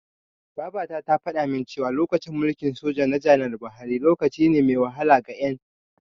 Babata tana faɗamin cewa, lokacin mulkin soja na janar Buhari, lokaci ne mai wahala ga Ƴan.